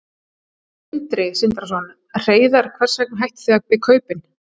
Sindri Sindrason: Hreiðar hvers vegna hættuð þið við kaupin?